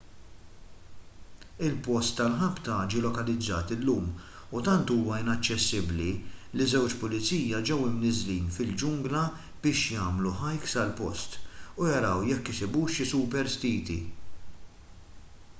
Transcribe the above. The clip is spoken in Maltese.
il-post tal-ħabta ġie lokalizzat illum u tant huwa inaċċessibbli li żewġ pulizija ġew imniżżlin fil-ġungla biex jagħmlu hike sal-post u jaraw jekk isibux xi superstiti